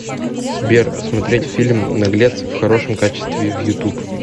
сбер смотреть фильм наглец в хорошем качестве в ютуб